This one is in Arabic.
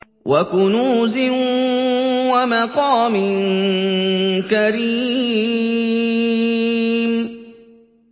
وَكُنُوزٍ وَمَقَامٍ كَرِيمٍ